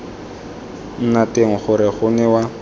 nna teng gore go newa